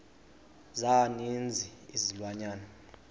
za ninzi izilwanyana